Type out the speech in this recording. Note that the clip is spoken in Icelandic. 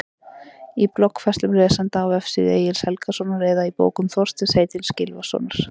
Í bloggfærslum lesenda á vefsíðu Egils Helgasonar eða í bókum Þorsteins heitins Gylfasonar?